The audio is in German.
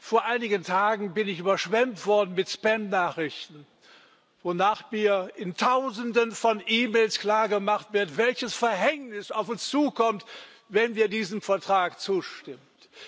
Vor einigen Tagen bin ich überschwemmt worden mit Spamnachrichten, wonach mir in Tausenden von E Mails klargemacht wird, welches Verhängnis auf uns zukommt, wenn wir diesem Vertrag zustimmen.